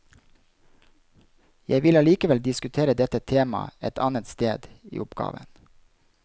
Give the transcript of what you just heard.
Jeg vil allikevel diskutere dette temaet et annet sted i oppgaven.